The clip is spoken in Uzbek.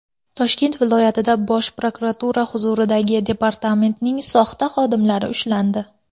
Toshkent viloyatida Bosh prokuratura huzuridagi departamentning soxta xodimlari ushlandi.